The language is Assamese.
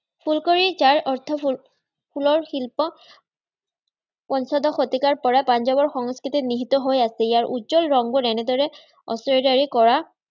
ফুলকাৰী যাৰ অৰ্থ হল ফুলৰ শিল্প। পঞ্চদশ শতিকাৰপৰা পাঞ্জাৱৰ সংস্কৃতিত নিহিত হৈ আছে ইয়াৰ উজ্জ্বল ৰংবোৰ এনেদৰে কৰা